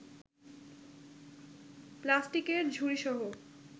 প্লাস্টিকের ঝুড়িসহ